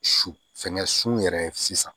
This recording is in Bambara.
Su fɛngɛ su yɛrɛ ye sisan